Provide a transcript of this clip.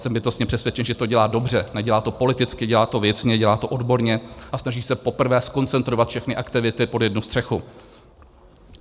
Jsem bytostně přesvědčen, že to dělá dobře, nedělá to politicky, dělá to věcně, dělá to odborně a snaží se poprvé zkoncentrovat všechny aktivity pod jednu střechu.